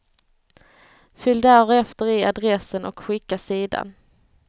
Fyll därefter i adressen och skicka sidan.